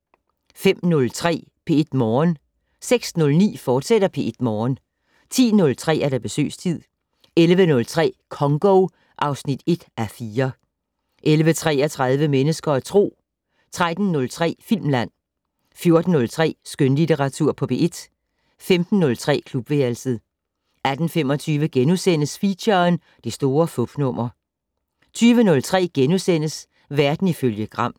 05:03: P1 Morgen 06:09: P1 Morgen, fortsat 10:03: Besøgstid 11:03: Congo (1:4) 11:33: Mennesker og Tro 13:03: Filmland 14:03: Skønlitteratur på P1 15:03: Klubværelset 18:25: Feature: Det store fupnummer * 20:03: Verden ifølge Gram *